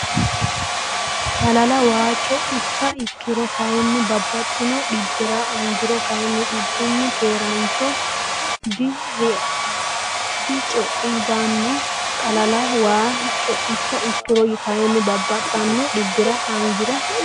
Xalala waa co icha ikkiro kayinni babbaxxino dhibbira angiro kayinni dhibbunni keeraancho direqeccaambanni Xalala waa co icha ikkiro kayinni babbaxxino dhibbira angiro.